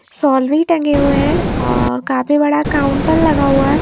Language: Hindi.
शॉल भी टंगे हुए हैं और काफी बड़ा काउंटर लगा हुआ--